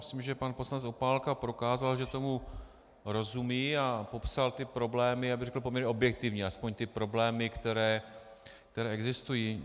Myslím, že pan poslanec Opálka prokázal, že tomu rozumí a popsal ty problémy, já bych řekl poměrně objektivně, aspoň ty problémy, které existují.